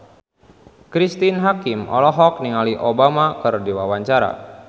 Cristine Hakim olohok ningali Obama keur diwawancara